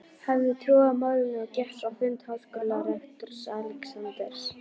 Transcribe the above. hafði trú á málinu og gekk á fund háskólarektors, Alexanders